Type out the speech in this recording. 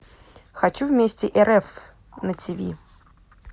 хочу вместе рф на тв